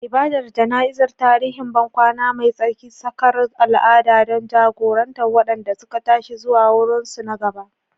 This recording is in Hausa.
Ibadar jana'izar, tarihin bankwana mai tsarki, sakar al'ada don jagorantar waɗanda suka tashi zuwa wurinsu na gaba.